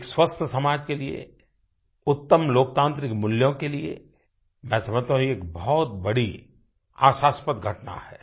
एक स्वस्थ समाज के लिए उत्तम लोकतान्त्रिक मूल्यों के लिए मैं समझता हूँ एक बहुत बड़ीआशास्पद घटना है